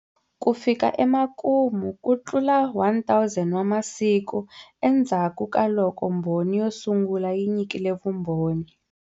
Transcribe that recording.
Ku fika emakumu, kutlula 1000 wa masiku endzhakukaloko mbhoni yo sungula yi nyikile vumboni.